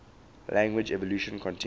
language evolution continues